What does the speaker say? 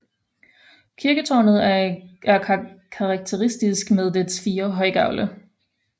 Kirketårnet er karakteristisk med dets fire højgavle